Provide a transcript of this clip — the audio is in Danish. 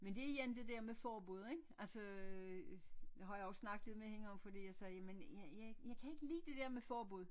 Men det er igen det der med forbud ik altså nu har jeg jo snakket lidt med hende om fordi jeg sagde jeg jeg jeg kan ikke lide det der med forbud